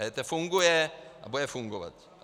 EET funguje a bude fungovat.